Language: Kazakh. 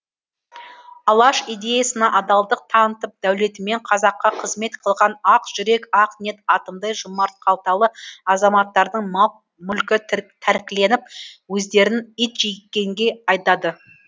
алаш идеясына адалдық танытып дәулетімен қазаққа қызмет қылған ақ жүрек ақ ниет атымтай жомарт қалталы азаматтардың мал мүлкі тәркіленіп өздерін итжеккенге айдады